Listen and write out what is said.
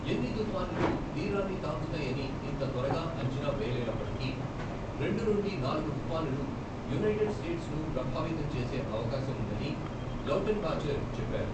ఎన్ని తుఫానులు తీరాన్ని తాకుతాయని ఇంత త్వరగా అంచనా వేయలేనప్పటికీ, రెండు నుండి నాలుగు తుఫానులు యునైటెడ్ స్టేట్స్ను ప్రభావితం చేసే అవకాశం ఉందని లౌటెన్బాచెర్ చెప్పారు.